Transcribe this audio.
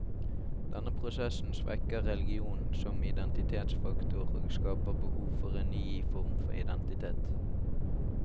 Denne prosessen svekker religionen som identitetsfaktor, og skaper behov for en ny form for identitet.